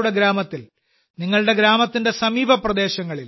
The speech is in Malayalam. നിങ്ങളുടെ ഗ്രാമത്തിൽ നിങ്ങളുടെ ഗ്രാമത്തിന്റെ സമീപ പ്രദേശങ്ങളിൽ